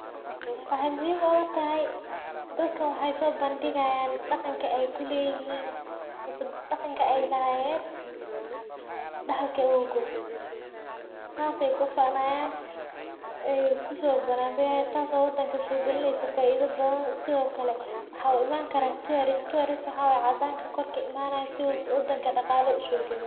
Wexey muhhim ogutahay dadkan wexey sobandigayan daqanka ey leyihin ama ey lahayen oo daxalki awowgod taas ayey kufanayan oo wadanka soglineyso faido badan sidoklae waxa uimani kara tuorist oo ah dadka cadanka oo wadanka imanayo sii wadanka daqalo usogaliyo.